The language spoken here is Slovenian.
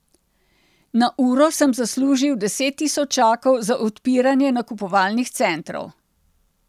Na uro sem zaslužil deset tisočakov za odpiranje nakupovalnih centrov.